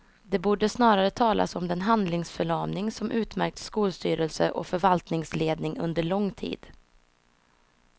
Det borde snarare talas om den handlingsförlamning som utmärkt skolstyrelse och förvaltningsledning under lång tid.